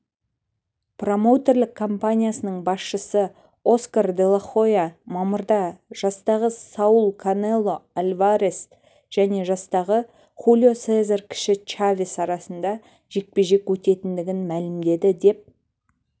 промоутерлік компаниясының басшысы оскар делахойя мамырда жастағы саул канело альварес және жастағы хулио сезар кіші чавес арасында жекпе-жек өтетіндігін мәлімдеді деп